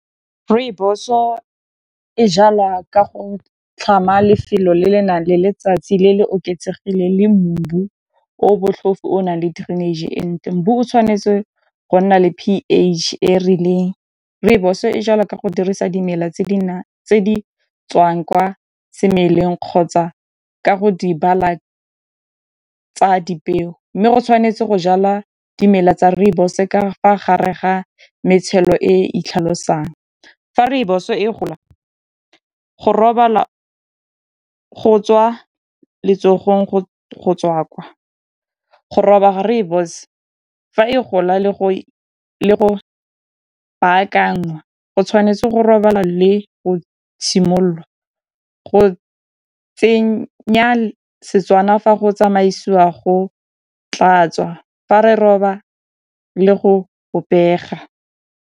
Rooibos-o e jala ka go tlhama lefelo le le nang le letsatsi le le oketsegileng le o botlhofo o nang le drainage e ntle. o tshwanetse go nna le P_H e rileng rooibos e jalwa ka go dirisa dimela tse di tswang kwa semeleng kgotsa ka go di bala tsa dipeo mme go tshwanetse go jala dimela tsa rooibos-e ka fa gare ga matshelo e itlhalose jang fa rooibos e gola go robala go tswa letsogong go tswa kwa go roba rooibos fa e gola le go baakanngwa go tshwanetse le go robala le go simololwa go tsenya Setswana fa go tsamaisiwa go tlatswa fa re roba le go bobega.